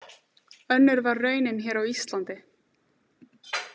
Önnur var raunin hér á Íslandi.